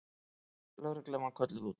Lögreglan var kölluð út.